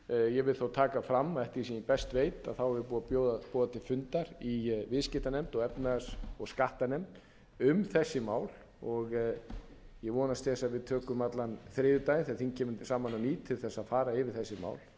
ég vil þó taka fram að eftir því sem ég best veit er búið að boða til funda í viðskiptanefnd og efnahags ég skattanefnd um þessi mál og ég vonast til þess að við tökum allan þriðjudaginn þegar þing kemur hérna saman á ný til þess að fara